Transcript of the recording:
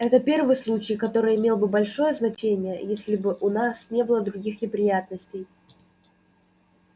это первый случай который имел бы большое значение если бы у нас не было других неприятностей